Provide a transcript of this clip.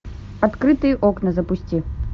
открытые окна запусти